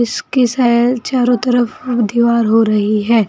उसके शायद चारों तरफ दीवार हो रही है।